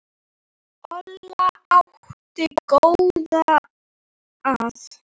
Olla átti góða að.